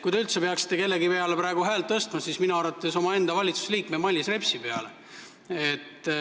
Kui te üldse võiksite kellegi peale praegu häält tõsta, siis minu arvates omaenda valitsuse liikme Mailis Repsi peale.